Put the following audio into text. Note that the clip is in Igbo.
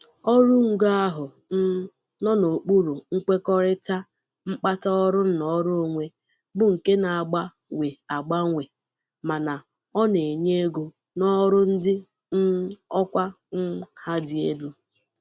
ọrụ ngo ahụ um nọ n'okpuru nkwekọrịta mkpata ọrụ nnọrọ onwe bu nke na-agba we agbanwe mana ọ na-enye ego n'ọrụ ndị um ọkwa um ha dị elu.